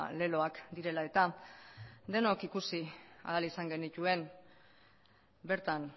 leloak direla eta denok ikusi ahal izan genituen bertan